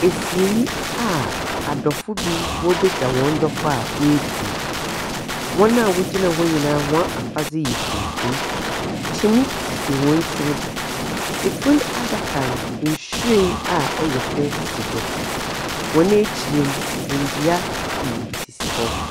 Asiei a adɔfo bi wɔrebɛgyɛ hɔn dɔfo a woefirim. Hɔn a wɔgyina hɔ nyinaa hɔn afadze yɛ tuntum kyiniiɛ sisi hɔn tsir do. Fun adaka no, nhwiren a ɔyɛ fɛ si do. Hɔn ekyir no, ndua pii sisi hɔ.